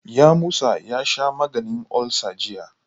Yamusa ya sha maganin ulsa jiya.